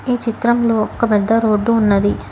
ఈ చిత్రంలో ఒక పెద్ద రోడ్డు ఉన్నది.